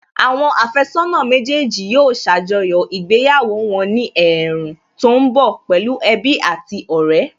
Àwọn àfẹ́sọ́nà méjèèjì yóò ṣàjọyọ̀ ìgbéyàwó wọn ní ẹ̀ẹ̀rùn tó ń bọ̀ pẹ̀lú ẹbí àti ọ̀rẹ́